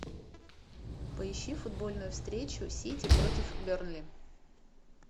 поищи футбольную встречу сити против бернли